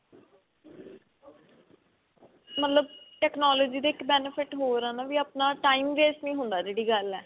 ਮਤਲਬ technology ਦਾ ਇੱਕ benefit ਹੋਰ ਆ ਵੀ ਆਪਣਾ time waste ਨੀ ਹੁੰਦਾ ਜਿਹੜੀ ਗੱਲ ਹੈ